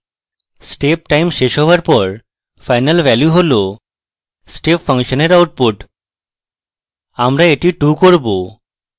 step time শেষ হওয়ার পর final value হল step function এর output আমরা এটি 2 করব